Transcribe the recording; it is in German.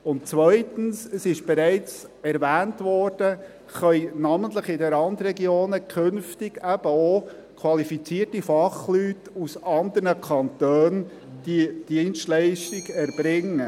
Und zweitens – es wurde bereits erwähnt – können namentlich in den Randregionen künftig eben auch qualifizierte Fachleute aus anderen Kantonen diese Dienstleistung erbringen.